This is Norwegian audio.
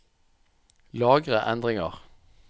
Lagre endringer